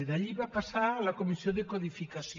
d’allí va passar a la comissió de codificació